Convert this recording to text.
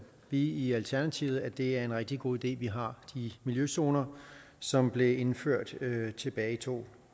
vi i alternativet at det er en rigtig god idé at vi har de miljøzoner som blev indført tilbage i to